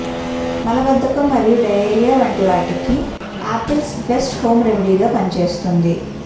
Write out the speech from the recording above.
మలబద్దకం మరియు డయోరియా వంటి వాటకి ఆపిల్స్ బెస్ట్ హోం రెమెడీగా పనిచేస్తుంది